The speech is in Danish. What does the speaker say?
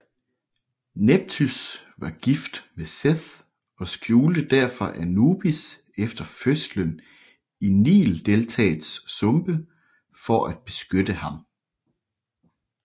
Nepthys var gift med Seth og skjulte derfor Anubis efter fødslen i Nildeltaets sumpe for at beskytte ham